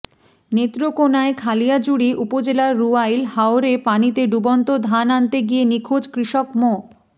নেত্রকোনার খালিয়াজুড়ি উপজেলার রুয়াইল হাওরে পানিতে ডুবন্ত ধান আনতে গিয়ে নিখোঁজ কৃষক মো